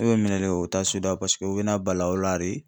E bɛ minɛ de, u ta'a suda paseke u bɛ na bali aw la de.